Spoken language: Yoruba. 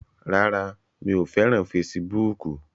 Rárá, mi ò fẹ́ràn fesibúùkù